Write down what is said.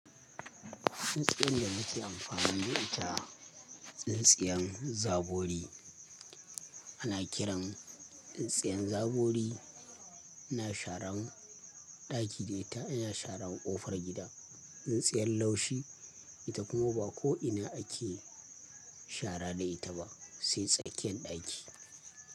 Tsintsiyan da muke amfani da ita, tsintsiyan zabori. Ana kiran tsintsiyan zabori ina sharan ɗaki ne, ina sharan ƙofar gida. Tsintsiyan laushi ita kuma ba ko ina ake shara da ita ba sai tsakiyan ɗaki.